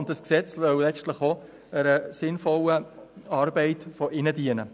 Dieses Gesetz soll letztlich auch einer sinnvollen Arbeit von Polizistinnen und Polizisten dienen.